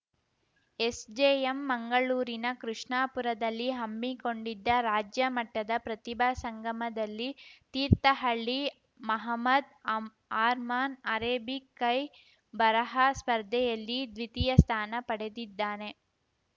SJM ಮಂಗಳೂರಿನ ಕೃಷ್ಣಾಪುರದಲ್ಲಿ ಹಮ್ಮಿಕೊಂಡಿದ್ದ ರಾಜ್ಯಮಟ್ಟದ ಪ್ರತಿಭಾ ಸಂಗಮದಲ್ಲಿ ತೀರ್ಥಹಳ್ಳಿ ಮಹಮ್ಮದ್‌ ಅರ್ಮಾನ್‌ ಅರೇಬಿಕ್‌ ಕೈ ಬರಹ ಸ್ಪಧೆಯಲ್ಲಿ ದ್ವಿತೀಯ ಸ್ಥಾನ ಪಡೆದಿದ್ದಾನೆ